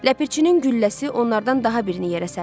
Ləpirçinin gülləsi onlardan daha birini yerə sərdi.